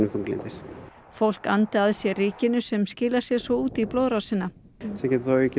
þunglyndis fólk andi að sé rykinu sem skilar sér svo út í blóðrásina sem getur aukið